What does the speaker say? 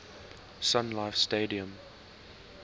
sun life stadium